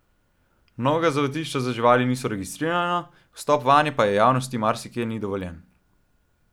Mnoga zavetišča za živali niso registrirana, vstop vanje pa javnosti marsikje ni dovoljen.